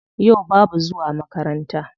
Yau babu zuwa makaranta.